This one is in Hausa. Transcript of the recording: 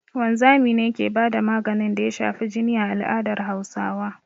Wanzami ne ke ba da maganin da ya shafi jini a al'adar Hausawa